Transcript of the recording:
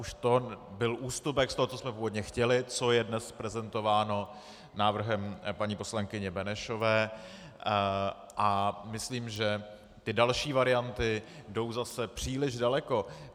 Už to byl ústupek z toho, co jsme původně chtěli, co je dnes prezentováno návrhem paní poslankyně Benešové, a myslím, že ty další varianty jdou zase příliš daleko.